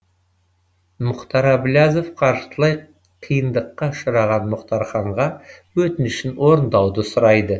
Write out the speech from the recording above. мұхтар әблязов қаржылай қиындыққа ұшыраған мұратханға өтінішін орындауды сұрайды